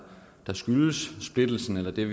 er